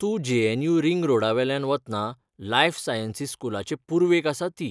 तूं JNU. Ring रोडावयल्यान वतना लायफ सायंसीस स्कूलाचे पूर्वेक आसा ती